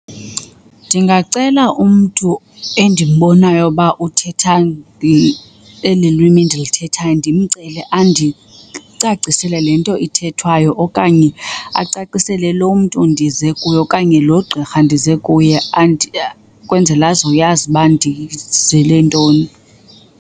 Ndingacela umntu endimbonayo uba uthetha eli lwimi ndilithethayo ndimcele andicacisele le nto ithethwayo okanye acacisele lo mntu ndize kuye okanye lo gqirha ndize kuye kwenzela azoyazi uba ndizele ntoni.